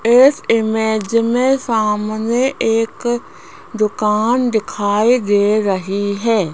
इस इमेज में सामने एक दुकान दिखाई दे रही है।